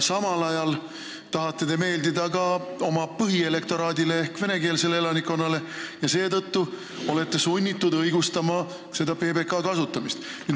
Samal ajal tahate te meeldida ka oma põhielektoraadile ehk venekeelsele elanikkonnale ja olete seetõttu sunnitud õigustama PBK kasutamist.